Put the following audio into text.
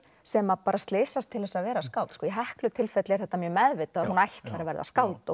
sem bara slysast til að vera skáld í Heklu tilfelli er þetta mjög meðvitað að hún ætlar að verða skáld og